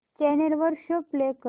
channel वर show play कर